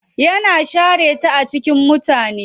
Yana share ta a cikin mutane.